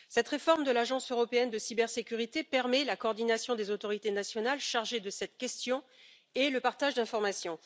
Cette réforme de l'Agence européenne de cybersécurité permet la coordination des autorités nationales chargées de cette question et le partage d'informations.